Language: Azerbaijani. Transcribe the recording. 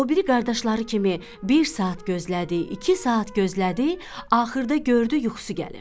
O biri qardaşları kimi bir saat gözlədi, iki saat gözlədi, axırda gördü yuxusu gəlir.